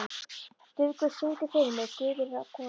Dufgus, syngdu fyrir mig „Guð er kona“.